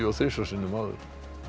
og þrisvar sinnum áður